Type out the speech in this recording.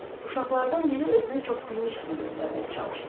Uşaqlardan biri özünü çoxbilmiş kimi göstərməyə çalışdı.